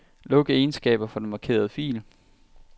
Luk egenskaber for den markerede fil.